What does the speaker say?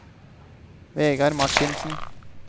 Vegar Marthinsen